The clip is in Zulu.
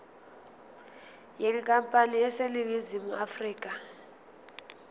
yenkampani eseningizimu afrika